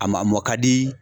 A maa a mɔn ka di.